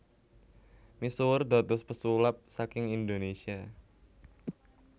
Misuwur dados pesulap saking Indonésia